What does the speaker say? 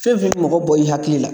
Fɛn fɛn mi mɔgɔ bɔ i hakili la